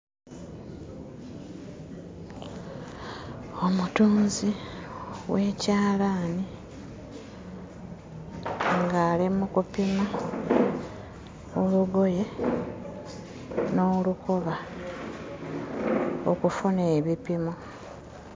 Omutunzi w'ekyalaani ng'ali mu kupima olugoye n'olukoba okufuna ebipimo.